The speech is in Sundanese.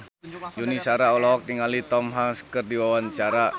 Yuni Shara olohok ningali Tom Hanks keur diwawancara